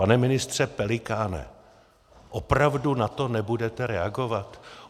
Pane ministře Pelikáne, opravdu na to nebudete reagovat?